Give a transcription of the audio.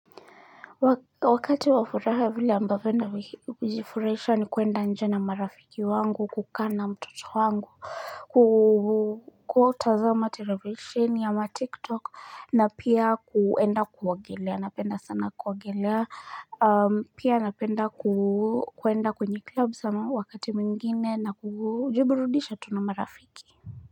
Wakati wa furaha vile ambavyo ninajifurahisha ni kuenda nje na marafiki wangu, kukaa na mtoto wangu, kutazama televisheni ama tik tok na pia kuenda kuogelea napenda sana kuogelea pia napenda kuenda kwenye club sana wakati mwingine na kujiburudisha tu na marafiki.